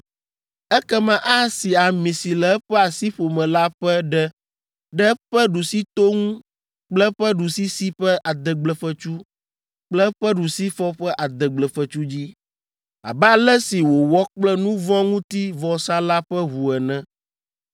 Ekema asi ami si le eƒe asiƒome la ƒe ɖe ɖe eƒe ɖusito ŋu kple eƒe ɖusisi ƒe adegblefetsu kple eƒe ɖusifɔ ƒe adegblefetsu dzi, abe ale si wòwɔ kple nu vɔ̃ ŋuti vɔsa la ƒe ʋu ene.